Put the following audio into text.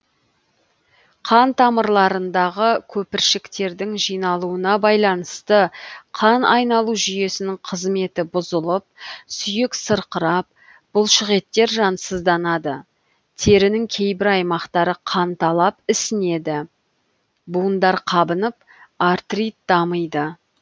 қан тамырларындағы көпіршіктердің жиналуына байланысты қан айналу жүйесінің қызметі бұзылып сүйек сырқырап бұлшық еттер жансызданады терінің кейбір аймақтары қанталап ісінеді буындар қабынып артрит дамиды